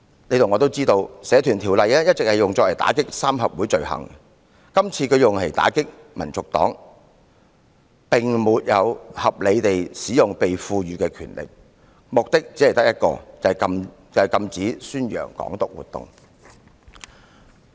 大家都知道，《社團條例》一直用以打擊三合會罪行，今次用來打擊香港民族黨，便是沒有合理地使用被賦予的權力，其目的只有一個，就是禁止宣揚"港獨"。